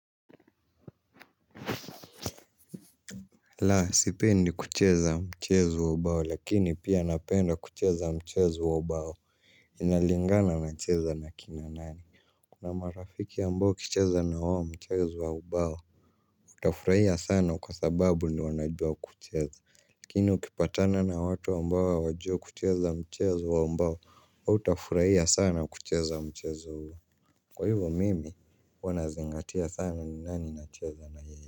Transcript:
Laa sipendi kucheza mchezo wa ubao lakini pia napenda kucheza mchezu wa ubao. Inalingana na cheza na kina nani. Kuna marafiki ambao kucheza na wawa mchezu waubao. Utafuraia sana kwa sababu ni wanajua kucheza likini ukipatana na watu ambao hawajui kucheza mchezu waubao utafuraia sana kucheza mchezuo huo. Kwa hivyo mimi wanazingatia sana ni nani na cheza na yeye.